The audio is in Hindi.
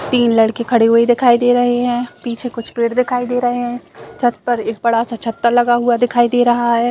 तीन लड़के खड़े हुए दिखाई दे रहे है पीछे कुछ पेड़ दिखाई दे रहे है छत पर एक बड़ा सा छत्ता लगा हुआ दिखाई दे रहा है।